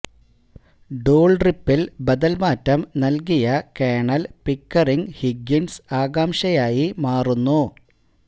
ഡൂൾളിപ്പിൾ ബദൽ മാറ്റം നൽകിയ കേണൽ പിക്കറിങ് ഹിഗ്ഗിൻസ് ആകാംഷയായി മാറുന്നു